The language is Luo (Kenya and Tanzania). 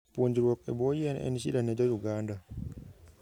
Puonjruok e buo yien en shida ne jo Uganda